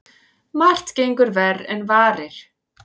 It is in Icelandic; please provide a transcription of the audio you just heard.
Margt gengur verr en varir.